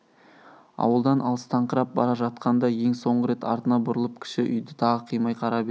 ауылдан алыстаңқырап бара жатқанда ең соңғы рет артына бұрылып кіші үйді тағы қимай қарап еді